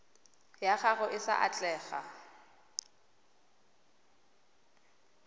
ya gago e sa atlega